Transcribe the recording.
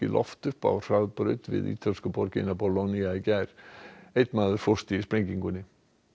loft upp á hraðbraut við ítölsku borgina í gær einn maður fórst í sprengingunni